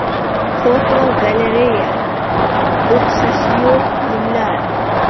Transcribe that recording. Fotogalereya: O‘xshashi yo‘q gullar.